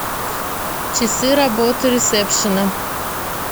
часы работы ресепшена